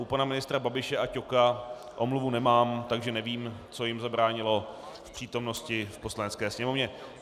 U pana ministra Babiše a Ťoka omluvu nemám, takže nevím, co jim zabránilo v přítomnosti v Poslanecké sněmovně.